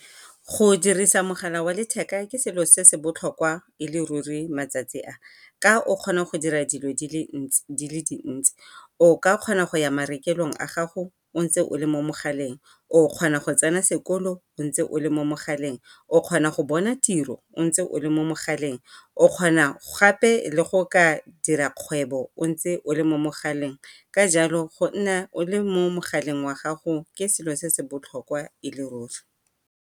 Go dirisa mogala wa letheka ke selo se se botlhokwa e le ruri matsatsi a, ka o kgona go dira dilo di le dintsi o ka kgona go ya marekelong a gago o ntse o le mo mogaleng, o o kgona go tsena sekolo o ntse o le mo mogaleng, o kgona go bona tiro o ntse o le mo mogaleng, o kgona gape le go ka dira kgwebo o ntse o le mo mogaleng. Ka jalo go nna o le mo mogaleng wa gago ke selo se se botlhokwa e le ruri.